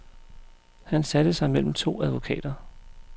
Han satte sig mellem to advokater.